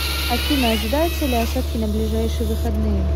афина ожидаются ли осадки на ближайшие выходные